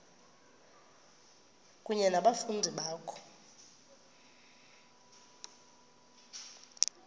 kunye nabafundi bakho